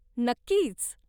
नक्कीच.